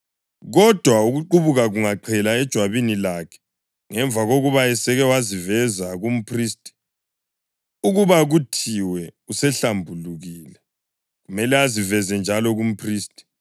Kodwa ukuqubuka kungaqhela ejwabini lakhe ngemva kokuba eseke waziveza kumphristi ukuba kuthiwe usehlambulukile, kumele aziveze njalo kumphristi.